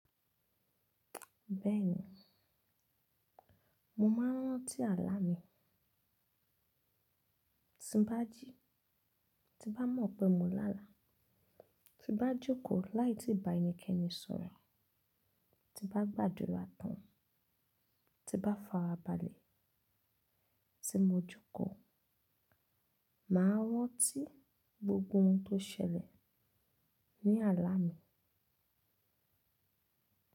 Bẹ́ẹ̀ni, mo máa rántí àlá mi. Tí n bá jí, tí n bá mọ̀ pé mo lá àlá, tí n bá jòkó láì tíì bá ẹnikẹ́ni sọ̀rọ̀, tí n bá gbàdúrà tán, tí n bá farabalẹ̀, tí mo jòkó, màá ranti gbogbo ohun tó ṣẹlẹ̀ ní àlá mi.